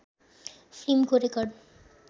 फिल्मको रेकर्ड